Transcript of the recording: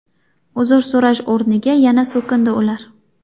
Uzr so‘rash o‘rniga yana so‘kindi ular.